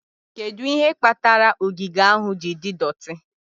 Kedu ihe kpatara ogige ahụ ji dị doti?